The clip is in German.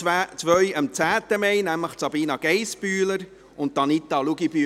Zwei feierten am 10. Mai Geburtstag, nämlich Sabina Geissbühler und Anita Luginbühl.